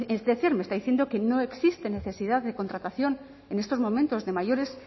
es decir me está diciendo que no existe necesidad de contratación en estos momentos de mayores